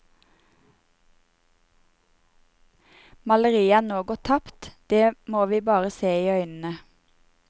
Maleriet er nå gått tapt, det må vi bare se i øynene.